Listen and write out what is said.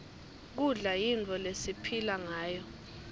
kudla yinfo lesiphila ngayo